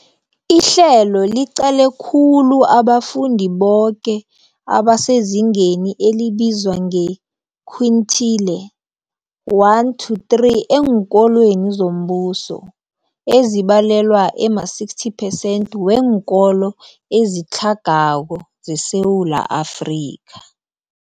Ihlelo liqale khulu abafundi boke abasezingeni elibizwa nge-quintile 1-3 eenkolweni zombuso, ezibalelwa ema-60 percent weenkolo ezitlhagako zeSewula Afrika.